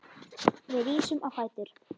Við rísum á fætur.